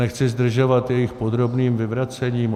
Nechci zdržovat jejich podrobným vyvracením.